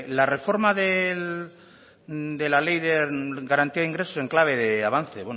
la reforma de la ley de garantía de ingresos en clave de avance